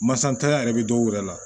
Masakɛ yɛrɛ be dɔw yɛrɛ la